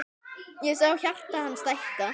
Ég sé hjarta hans stækka.